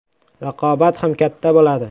Raqobat ham katta bo‘ladi.